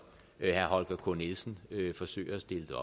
herre holger k nielsen forsøger at stille det